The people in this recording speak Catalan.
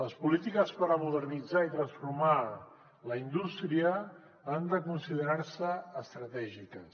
les polítiques per modernitzar i transformar la indústria han de considerar se estratègiques